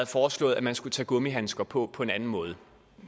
foreslået at man skulle tage gummihandskerne på på en anden måde